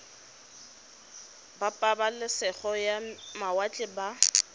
ba pabalesego ya mawatle ba